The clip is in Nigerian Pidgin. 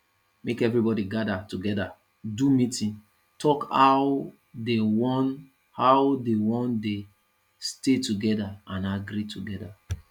make everybody gather together do meeting talk how they won how they won de stay together and agree together